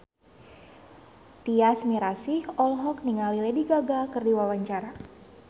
Tyas Mirasih olohok ningali Lady Gaga keur diwawancara